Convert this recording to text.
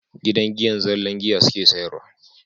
Gidan giyar zallan giya suke sayarwa